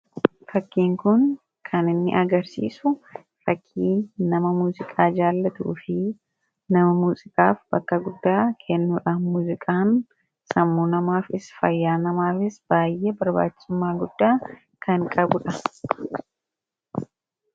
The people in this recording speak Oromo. Fakkiin kun kan inni agarsiisu fakkii nama muuziqaa jaallatuu fi nama muuziqaaf bakka guddaa kennuudha. Muuziqaan sammuu namaafis fayyaa namaafis baay'ee barbaachisummaa guddaa kan qabu dha.